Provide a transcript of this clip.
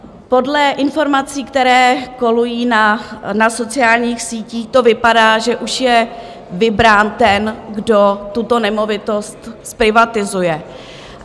Podle informací, které kolují na sociálních sítích, to vypadá, že už je vybrán ten, kdo tuto nemovitost zprivatizuje.